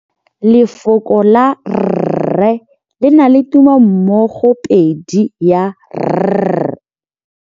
Lefoko la rre le na le tumammogôpedi ya, r.